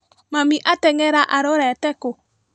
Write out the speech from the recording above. Mami atengera arorete kũ?